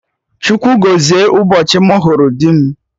Chukwu gọzie ụbọchị mụ hụrụ dị m